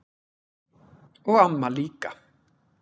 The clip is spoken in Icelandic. Og amma líka.